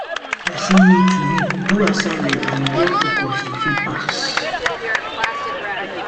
person need to read, do assignment and get focus to fit pass